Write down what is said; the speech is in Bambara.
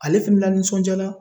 Ale fɛnɛ lanisɔndiyala.